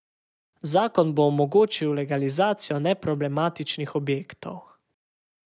Zakon bo tudi omogočil legalizacijo neproblematičnih objektov.